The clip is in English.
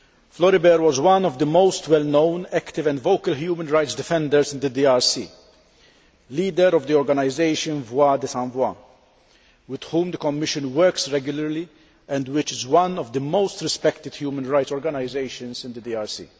Floribert was one of the most well known active and vocal human rights defenders in the DRC, leader of the organisation with whom the Commission works regularly and which is one of the most respected human rights organisations in the DRC.